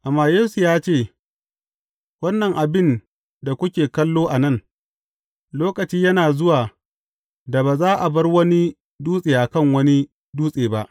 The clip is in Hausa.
Amma Yesu ya ce, Wannan abin da kuke kallo a nan, lokaci yana zuwa da ba za a bar wani dutse a kan wani dutse ba.